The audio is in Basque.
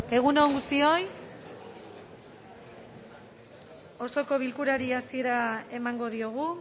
egun on guztioi osoko bilkurari hasiera emango diogu